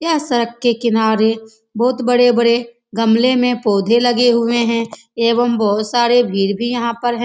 यह सड़क के किनारे बहुत बड़े-बड़े गमले में पौधे लगे हुए हैं एवं बहुत सारी भीड़ भी यहाँ पर है।